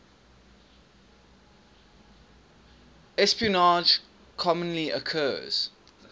espionage commonly occurs